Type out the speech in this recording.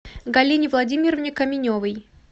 галине владимировне каменевой